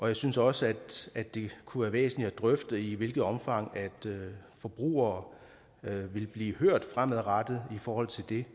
jeg synes også at det kunne være væsentligt at drøfte i hvilket omfang forbrugere vil blive hørt fremadrettet i forhold til det